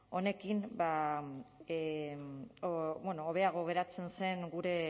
honekin bueno hobeago geratzen zen gure